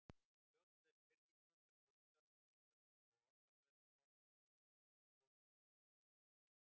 Stjórnlaus pirringur sem ólgar og sýður og orðaflaumur fossandi í höfðinu, kokinu, munninum